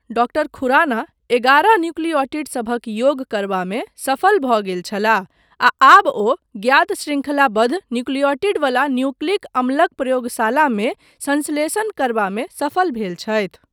Doctor Khurana एगारह न्युक्लिऔटिडसभक योग करबामे सफल भऽ गेल छलाह आ आब ओ ज्ञात शृङ्खलाबद्ध न्युक्लिऔटिडवला न्युक्लिक अम्लक प्रयोगशालामे संश्लेषण करबामे सफल भेल छथि।